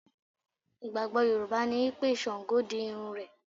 Ìgbàgbọ́ Yorùbá ni wípé Sàngó di irun rẹ̀.